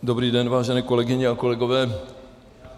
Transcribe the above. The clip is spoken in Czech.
Dobrý den, vážené kolegyně a kolegové.